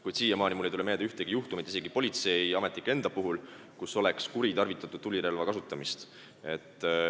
Kuid mulle ei tule meelde ühtegi juhtumit isegi politseiametnike puhul, kui oleks kuritarvitatud tulirelva.